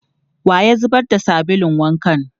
Wa ya zubar da sabulun wankan?